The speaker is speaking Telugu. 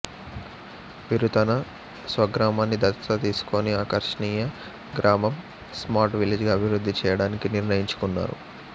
వీరు తన స్వగ్రామాన్ని దత్తత తీసికొని ఆకర్ష్ణీయ గ్రామం స్మార్ట్ విలేజ్ గా అభివృద్ధి చేయడాననికి నిర్ణయించుకున్నారు